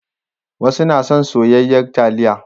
Wasu na son soyayyar taliya.